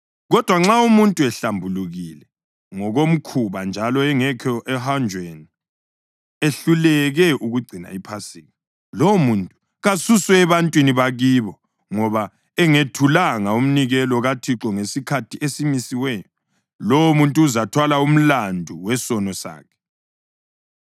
Kodwa nxa umuntu ehlambulukile ngokomkhuba njalo engekho ohanjweni ehluleke ukugcina iPhasika, lowomuntu kasuswe ebantwini bakibo ngoba engethulanga umnikelo kaThixo ngesikhathi esimisiweyo. Lowomuntu uzathwala umlandu wesono sakhe.